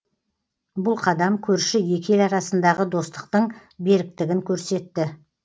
бұл қадам көрші екі ел арасындағы достықтың беріктігін көрсетті